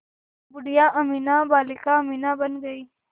बूढ़िया अमीना बालिका अमीना बन गईं